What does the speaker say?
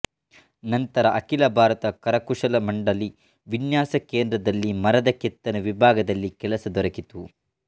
ನಂತರ ಅಖಿಲ ಭಾರತ ಕರಕುಶಲ ಮಂಡಲಿ ವಿನ್ಯಾಸ ಕೇಂದ್ರದಲ್ಲಿ ಮರದ ಕೆತ್ತನೆ ವಿಭಾಗದಲ್ಲಿ ಕೆಲಸ ದೊರಕಿತು